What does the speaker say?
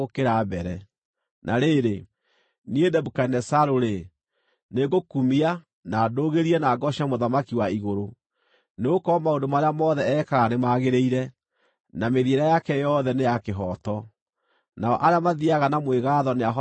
Na rĩrĩ, niĩ Nebukadinezaru-rĩ, nĩngũkumia, na ndũũgĩrie, na ngooce Mũthamaki wa igũrũ, nĩgũkorwo maũndũ marĩa mothe ekaga nĩmagĩrĩire, na mĩthiĩre yake yothe nĩ ya kĩhooto. Nao arĩa mathiiaga na mwĩgaatho nĩahotaga kũmanyiihia.